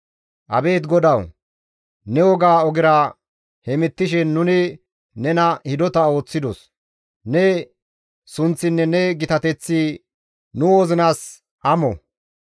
Abeet GODAWU! Ne woga ogera hemettishe nuni nena hidota ooththidos; ne sunththinne ne gitateththi nu wozinas amo.